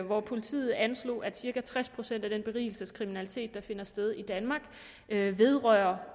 hvor politiet anslog at cirka tres procent af den berigelseskriminalitet der finder sted i danmark vedrører